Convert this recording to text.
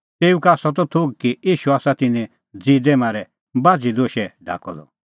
तेऊ का आसा त थोघ कि ईशू आसा तिन्नैं ज़िदै मारै बाझ़ी दोशै ढाकअ द